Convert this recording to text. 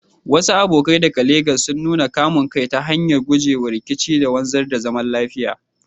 Wasu abokai daga Legas sun nuna kamun kai ta hanyar gujewa rikici da wanzar da zaman lafiya.